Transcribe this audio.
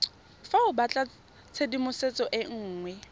fa o batlatshedimosetso e nngwe